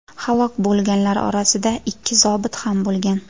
Halok bo‘lganlar orasida ikki zobit ham bo‘lgan.